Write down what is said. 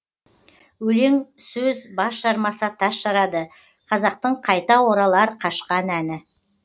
өлең сөз бас жармаса тас жарады қазақтың қайта оралар қашқан әні